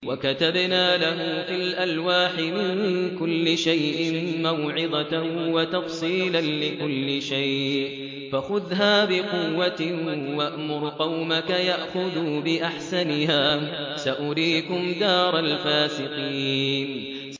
وَكَتَبْنَا لَهُ فِي الْأَلْوَاحِ مِن كُلِّ شَيْءٍ مَّوْعِظَةً وَتَفْصِيلًا لِّكُلِّ شَيْءٍ فَخُذْهَا بِقُوَّةٍ وَأْمُرْ قَوْمَكَ يَأْخُذُوا بِأَحْسَنِهَا ۚ سَأُرِيكُمْ دَارَ الْفَاسِقِينَ